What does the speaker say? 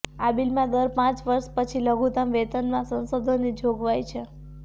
આ બિલમાં દર પાંચ વર્ષ પછી લઘુતમ વેતનમાં સંશોધનની જોગવાઈ છે